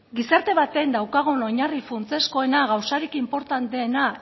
gizarte batean daukagun oinarri funtsezkoena gauzarik inportanteena